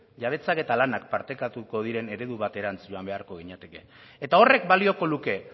jabetzak eta lanak partekatuko diren eredu baterantz joan beharko ginateke eta horrek balioko luke